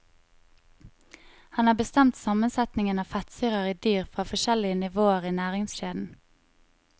Han har bestemt sammensetningen av fettsyrer i dyr fra forskjellige nivåer i næringskjeden.